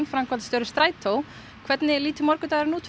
framkvæmdastjóri Strætós hvernig lítur morgundagurinn út